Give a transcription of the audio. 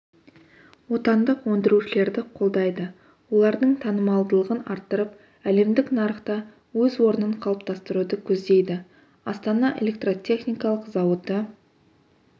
отандық өндірушілерді қолдайды олардың танымалдығын арттырып әлемдік нарықта өз орнын қалыптастыруды көздейді астана электротехникалық зауыты